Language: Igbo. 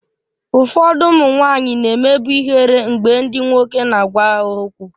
Ụfọdụ ụmụ nwanyị na-emebu ihere mgbe ndị nwoke na-agwa ha okwu